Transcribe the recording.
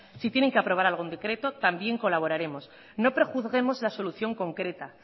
si tienen que aprobar algún decreto también colaboraremos no prejuzguemos la solución concreta